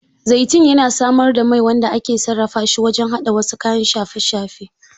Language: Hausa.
Zaitun yana samar da mai wanda ake sarrafa shi wajen haɗa wasu kayan shafe-shafe.